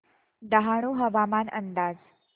डहाणू हवामान अंदाज